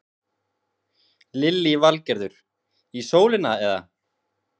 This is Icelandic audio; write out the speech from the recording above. Lillý Valgerður: Í sólina eða?